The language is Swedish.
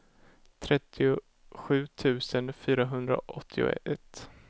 trettiosju tusen fyrahundraåttioett